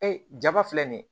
Ee jama filɛ nin ye